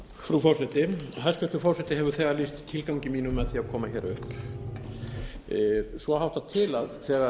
frú forseti hæstvirtur forseti hefur þegar lýst tilgangi mínum með því að koma hér upp svo háttar til að þegar